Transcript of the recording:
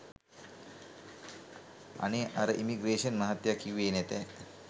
අනේ අර ඉමිග්‍රේෂන් මහත්තයා කිව්වෙ නැතෑ